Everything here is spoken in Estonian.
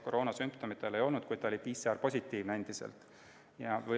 Koroonasümptomeid tal ei olnud, kuid ta oli endiselt PCR-positiivne.